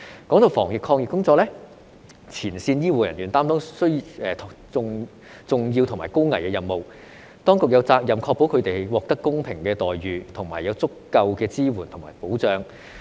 提到防疫抗疫工作，前線醫護人員擔當重要和高危的任務，當局有責任確保他們獲得公平的待遇，以及有足夠的支援和保障。